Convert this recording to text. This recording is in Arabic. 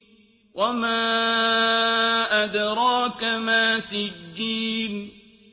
وَمَا أَدْرَاكَ مَا سِجِّينٌ